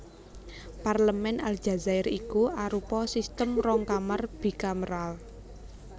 Parlemèn Aljazair iku arupa sistem rong kamar bikameral